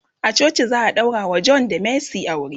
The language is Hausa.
a coci za'a daurawa John da mercy aure.